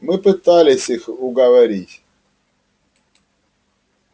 мы пытались их уговорить